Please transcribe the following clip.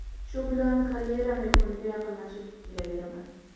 Shu bilan karyeram yakuniga yaqinlashib kelaveraman.